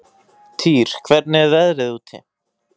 Týr, hvernig er veðrið úti?